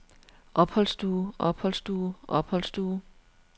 opholdsstue opholdsstue opholdsstue